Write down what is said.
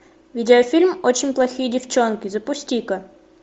видеофильм очень плохие девчонки запусти ка